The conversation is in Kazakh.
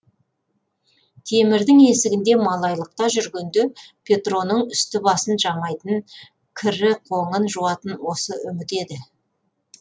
темірдің есігінде малайлықта жүргенде петроның үсті басын жамайтын кірі қоңын жуатын осы үміт еді